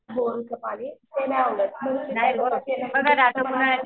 बोरिंगचं पाणी ते नाही आवडत.